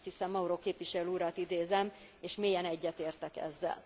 Azt hiszem Mauro képviselő urat idézem és mélyen egyetértek ezzel.